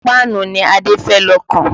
Páànù ni Adé fẹ́ lọ kàn